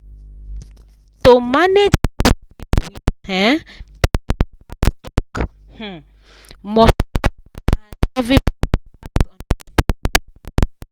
to manage house bill with um people for house talk um must clear and everybody gats understand.